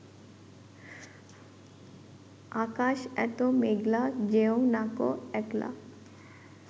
আকাশ এতো মেঘলা যেও নাকো একলা